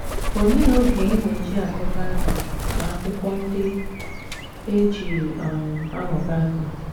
Olee oge ị na - eji agụ Bible na akwụkwọ ndị e ji um amụ Bible?